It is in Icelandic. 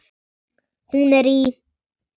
Hún er í